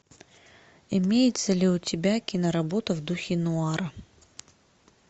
имеется ли у тебя киноработа в духе нуара